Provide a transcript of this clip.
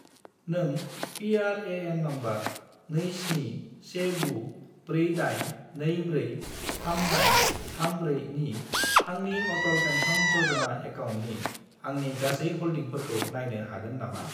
नों PRAN. Number 271948243834 नि आंनि अटल पेन्सन य'जना एकाउन्टनि आंनि गासै हल्डिंफोरखौ नायनो हागोन नामा?